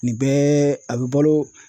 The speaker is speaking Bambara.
Nin bɛɛ , a bɛ balo